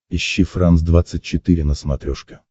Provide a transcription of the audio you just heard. ищи франс двадцать четыре на смотрешке